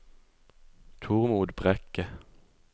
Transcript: Tormod Brekke